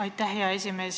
Aitäh, hea esimees!